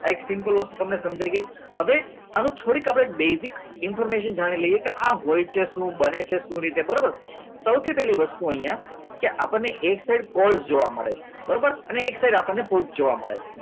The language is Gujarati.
એક simple વસ્તુ તમને સમજાઈ ગઈ હવે હવે થોડીક આપણે basic information જાણી લઈએ કે આ શું હોય છે શું બને છે કઈ રીતે સૌથી પહેલી વસ્તુ અહીંયા કે આપણને એક સાઇડ કોલ્સ જોવા મળે છે અને એક સાઈડ આપણને ફૂટ જોવા મળે છે